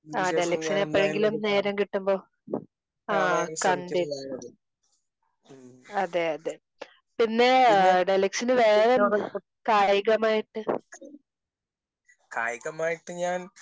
ഇതിന് ശേഷം ഞാൻ എന്തായാലും ഒന്നു കാണാൻ ശ്രമിക്കുന്നതാണ് അത്. മ്മ്മ്. പിന്നെ? ഇഷ്ടം? കായികമായിട്ട് ഞാൻ